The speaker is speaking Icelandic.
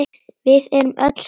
Við erum öll sátt.